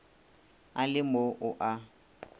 a le mo o a